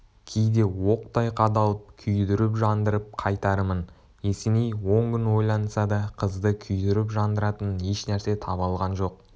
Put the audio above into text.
кейде оқтай қадалып күйдіріп жандырып қайтармын есеней он күн ойланса да қызды күйдіріп-жандыратын еш нәрсе таба алған жоқ